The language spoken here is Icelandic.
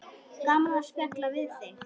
Gaman að spjalla við þig.